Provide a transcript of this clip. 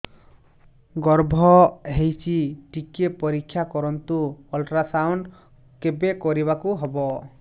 ଗର୍ଭ ହେଇଚି ଟିକେ ପରିକ୍ଷା କରନ୍ତୁ ଅଲଟ୍ରାସାଉଣ୍ଡ କେବେ କରିବାକୁ ହବ